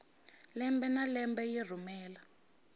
lembe na lembe yi rhumela